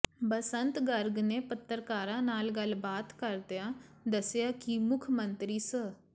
ਬਸੰਤ ਗਰਗ ਨੇ ਪੱਤਰਕਾਰਾਂ ਨਾਲ ਗੱਲਬਾਤ ਕਰਦਿਆ ਦੱਸਿਆ ਕਿ ਮੁੱਖ ਮੰਤਰੀ ਸ